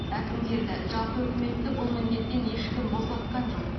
әкімдерді жалпы үкіметті бұл міндеттен ешкім босатқан жоқ